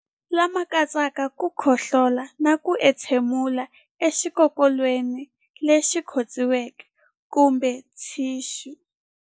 Lama katsaka ku khohlola na ku entshemulela exikokolweni lexi khotsiweke kumbe thixu.